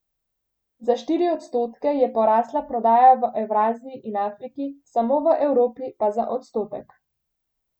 Za štiri odstotke je porasla prodaja v Evraziji in Afriki, samo v Evropi pa za odstotek.